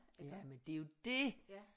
Ja men det er jo det